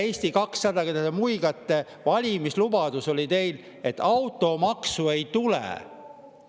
Eesti 200, kes te muigate, teie valimislubadus oli, et automaksu ei tule.